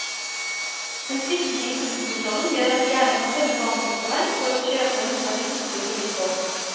Den sviktende impulskontrollen gjør at de gjerne kan tømme bankkontoen for å kjøpe noe de plutselig får lyst på.